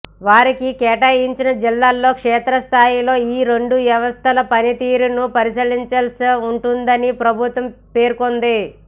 వారికి కేటాయించిన జిల్లాల్లో క్షేత్రస్థాయిలో ఈ రెండు వ్యవస్థల పనితీరును పరిశీలించాల్సి ఉంటుందని ప్రభుత్వం పేర్కొంది